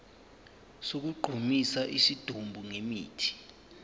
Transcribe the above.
sokugqumisa isidumbu ngemithi